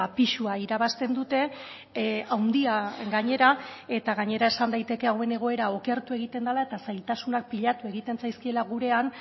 pisua irabazten dute handia gainera eta gainera esan daiteke hauen egoera okertu egiten dela eta zailtasunak pilatu egiten zaizkiela gurean